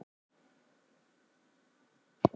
Íslögin eru greinileg.